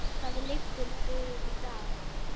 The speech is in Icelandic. Hvað liggur fyrir í dag?